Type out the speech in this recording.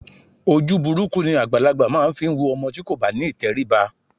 Ojú burúkú ni àgbàlagbà máa ń fi wo ọmọ tí kò bá ní ìtẹríba